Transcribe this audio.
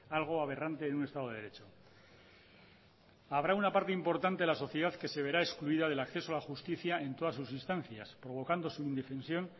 algo aberrante en un estado de derecho habrá una parte importante de la sociedad que se verá excluida del acceso a la justicia en todas sus instancias provocando su indefensión